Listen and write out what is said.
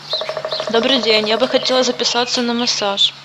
добрый день я бы хотела записаться на массаж